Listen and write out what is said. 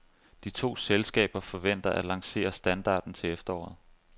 De to selskaber forventer at lancere standarden til efteråret.